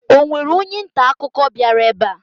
Ọ nwere onye nta akụkọ bịara ebe a?